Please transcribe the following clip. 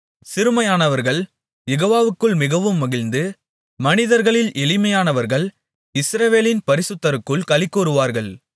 சிறுமையானவர்கள் யெகோவாவுக்குள் மிகவும் மகிழ்ந்து மனிதர்களில் எளிமையானவர்கள் இஸ்ரவேலின் பரிசுத்தருக்குள் களிகூருவார்கள்